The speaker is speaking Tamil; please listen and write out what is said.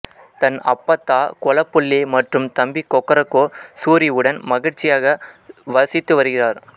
தன் அப்பத்தா கொளப்புள்ளி மற்றும் தம்பி கொக்கரக்கோ சூரி உடன் மகிழ்ச்சியாக வசித்துவருகிறார்